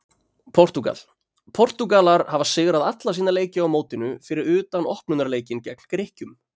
Portúgal: Portúgalar hafa sigrað alla sína leiki á mótinu fyrir utan opnunarleikinn gegn Grikkjum.